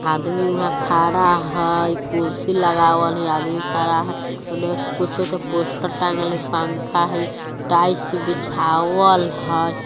आदमी वहां खरा है कुर्सी लगावल आदमी खरा है उन्ने एक पोस्टर टाँगल है पंखा है टाइल्स बीछावल हई।